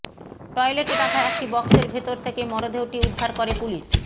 টয়লেটে রাখা একটি বক্সের ভেতর থেকে মরদেহটি উদ্ধার করে পুলিশ